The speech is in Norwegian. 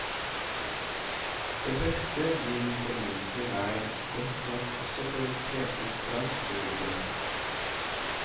Det beste vil formodentlig være godt nok også for et kresent fransk publikum.